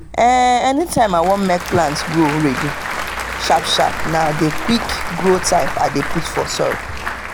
anytime i wan make plant grow ready sharp-sharp na the quick-grow type i dey put for soil.